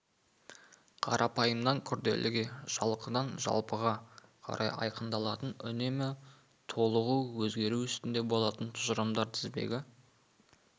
қарапайымнан күрделіге жалқыдан жалпыға қарай айқындалатын үнемі толығу өзгеру үстінде болатын тұжырымдар тізбегі